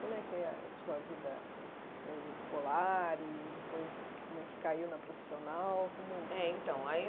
Como é a sua vida eh escolar e depois como é que caiu na profissional? Como é então aí